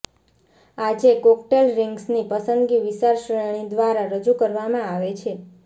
આજે કોકટેલ રિંગ્સની પસંદગી વિશાળ શ્રેણી દ્વારા રજૂ કરવામાં આવે છે